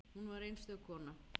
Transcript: Hún var einstök kona.